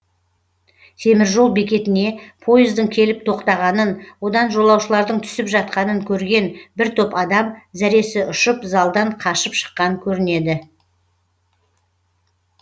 темір жол бекетіне пойыздың келіп тоқтағанын одан жолаушылардың түсіп жатқанын көрген бір топ адам зәресі ұшып залдан қашып шыққан көрінеді